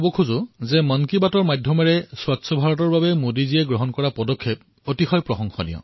মই কব বিচাৰিছোঁ যে মন কি বাতত স্বচ্ছ ভাৰতৰ যি পদক্ষেপ মোদীজীয়ে গ্ৰহণ কৰিছে সেয়া অতিশয় সুন্দৰ